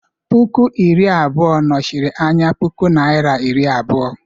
Puku iri abụọ nọchiri anya puku Naịra iri abụọ.